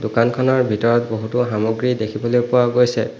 দোকানখনৰ ভিতৰত বহুতো সামগ্ৰী দেখিবলৈ পোৱা গৈছে।